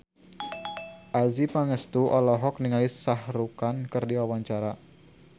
Adjie Pangestu olohok ningali Shah Rukh Khan keur diwawancara